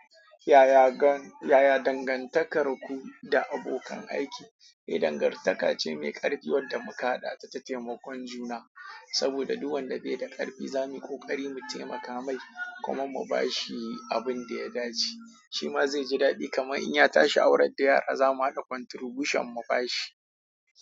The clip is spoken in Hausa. Yaya dangantakar ku da abokan aiki? Eh, dangantaka ce mai ƙarfi wadda muka haɗa ta ta taimakon juna, saboda duk wanda bai da ƙarfi zamu yi ƙoƙari mu taimaka mai kuma mu ba shi abin da ya dace, shi ma zai ji daɗi kamar in ya tashi aurar da yara za mu haɗa kwantirbushen mu ba shi.